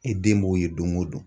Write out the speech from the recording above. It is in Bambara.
I den b'o ye don go don.